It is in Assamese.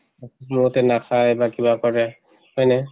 বহুতে নাখায় বা কিবা কৰে, হয়্নে?